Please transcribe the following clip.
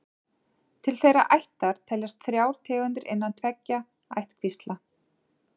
Til þeirrar ættar teljast þrjár tegundir innan tveggja ættkvísla.